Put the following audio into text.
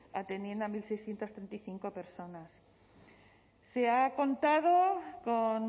atendiendo a mil seiscientos treinta y cinco personas se ha contado con